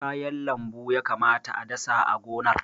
Kayan lambu ya kamata a dasa a gonar.